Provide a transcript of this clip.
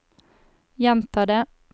gjenta det